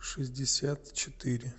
шестьдесят четыре